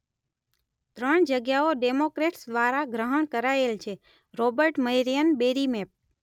ત્રણ જગ્યાઓ ડેમોક્રેટ્સ દ્વારા ગ્રહણ કરાયેલ છે - રોબર્ટ મેરિયન બેરી મેપ